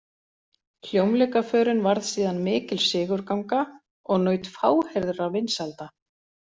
Hljómleikaförin varð síðan mikil sigurganga og naut fáheyrðra vinsælda.